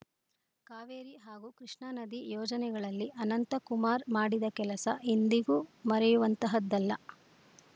ಕಾವೇರಿ ಹಾಗೂ ಕೃಷ್ಣಾ ನದಿ ಯೋಜನೆಗಳಲ್ಲಿ ಅನಂತಕುಮಾರ್‌ ಮಾಡಿದ ಕೆಲಸ ಎಂದಿಗೂ ಮರೆಯುವಂತಹದ್ದಲ್ಲ